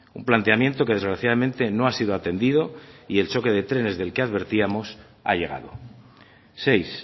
un planteamiento que desgraciadamente no ha sido atendido y el choque de trenes del que advertíamos ha llegado seis